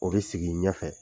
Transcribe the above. O bɛ sigi ɲɛfɛ.